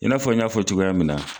I n'a fɔ n y'a fɔ cogoya min na.